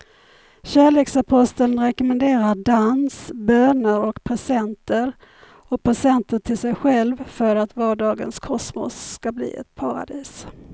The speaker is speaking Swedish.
Kärleksaposteln rekommenderar dans, böner och presenter och presenter till sig själv för att vardagens kosmos ska bli ett paradis.